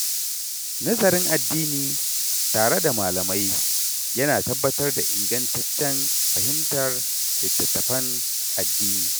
Nazarin addini tare da malamai ya na tabbatar da ingantaccen fahimtar littattafan addini.